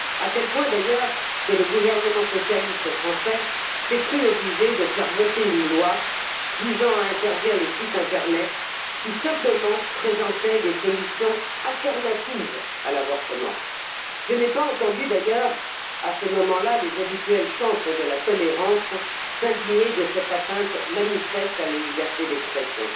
À tel point d'ailleurs, que le gouvernement socialiste français s'est cru obligé de faire voter une loi visant à interdire les sites internet qui présentaient simplement des solutions autres que l'avortement. D'ailleurs, je n'ai pas entendu, à ce moment là, les habituels chantres de la tolérance s'indigner de cette atteinte manifeste à la liberté d'expression.